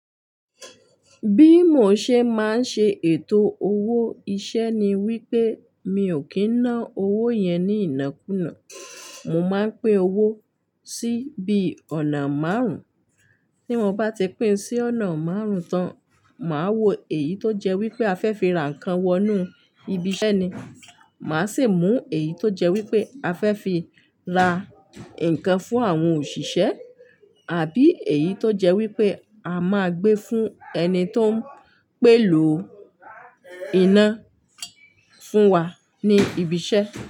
Bí mo ṣe máa ń ṣe ètò owó iṣẹ́ ni wípé mi ò kí ń ná owó yẹn ní ìnákùná. Mo máa ń pi n owó sí bí ọ̀nà márùn, tí mo bá ti pín sí ọ̀nà márùnntán, màá wo èyí tó jẹ́ wípé a fẹ́ fi ra nǹkan wọnú ibi iṣẹ́ ni, màá sì mú èyí tó jẹ́ wípé a fẹ́ fi ra nǹkan fún àwọn òṣìṣẹ́ tàbí èyí tó jẹ́ wípé a máa gbé fún ẹni tó ń pèlò iná fún wa ní ibi iṣẹ́